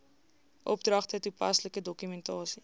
opdragte toepaslike dokumentasie